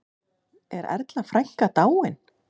Er Erla frænka dáin?